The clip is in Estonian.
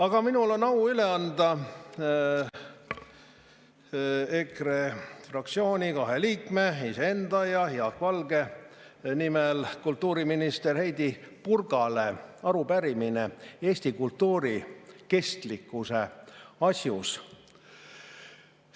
Aga minul on au üle anda EKRE fraktsiooni kahe liikme, iseenda ja Jaak Valge nimel kultuuriminister Heidy Purgale arupärimine eesti kultuuri kestlikkuse asjus.